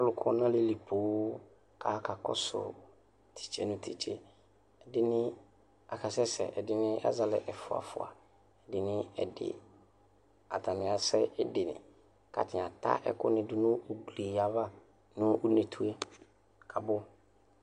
alʋkɔ nʋ alilii poo kaka kɔsʋ tise nʋ titse ɛdini aka sɛsɛɛ ɛdini azɛ alɛ ɛƒʋa ɛƒʋa ɛdini ɛdi atani asɛ katani ataa ɛkʋnidʋ nʋ ʋgli yava nʋ ʋneetʋe kabʋ aya